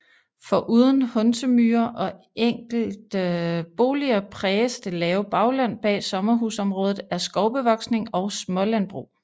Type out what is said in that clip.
Foruden Hundsemyre og enkelte boliger præges det lave bagland bag sommerhusområdet af skovbevoksning og smålandbrug